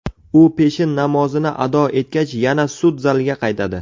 U peshin namozini ado etgach yana sud zaliga qaytadi.